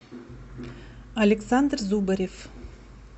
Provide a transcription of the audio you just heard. александр зубарев